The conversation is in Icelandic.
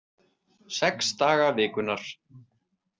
Sex daga vikunnar.